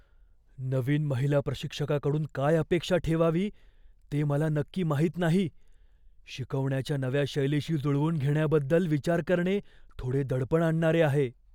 नवीन महिला प्रशिक्षकाकडून काय अपेक्षा ठेवावी ते मला नक्की माहित नाही. शिकवण्याच्या नव्या शैलीशी जुळवून घेण्याबद्दल विचार करणे थोडे दडपण आणणारे आहे.